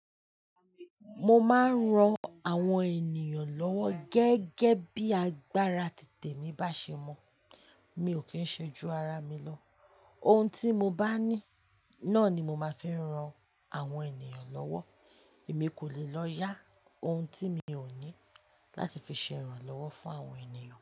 Mo máa ń ran àwọn ènìyàn lọ́wọ́ gẹ́gẹ́ bí agbára títè mi bá ṣe mọ́. Mi ò kí ń ṣe ju ara mi lọ. Ohun tí mo bá ní, náà ni mo máa ń fi ran àwọn ènìyàn lọ́wọ́. Èmi kò lè lọ yá ohun tí mi ò ní láti fi ṣe ìrànlọ́wọ́ fún àwọn ènìyàn.